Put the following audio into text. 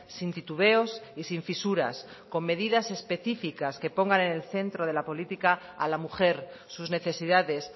sin titubeos y sin fisuras con medidas específicas que pongan en el centro de la política a la mujer sus necesidades